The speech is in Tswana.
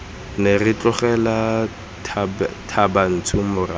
ne ra tlogela thabantsho morago